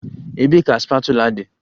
Ebee ka spatula dị?